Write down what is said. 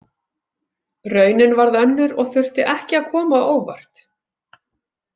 Raunin varð önnur og þurfti ekki að koma á óvart.